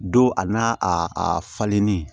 Don a n'a a falennen